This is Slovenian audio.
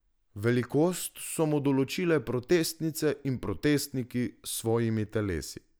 Velikost so mu določile protestnice in protestniki s svojimi telesi.